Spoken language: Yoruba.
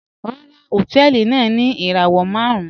Ràrà, họ̀tẹ̀ẹlì náà ni irawọ màrùn